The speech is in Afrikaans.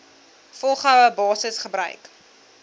volgehoue basis gebruik